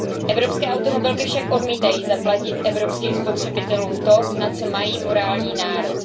Evropské automobilky však odmítají zaplatit evropským spotřebitelům to, na co mají morální nárok.